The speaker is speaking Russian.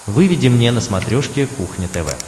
выведи мне на смотрешке кухня тв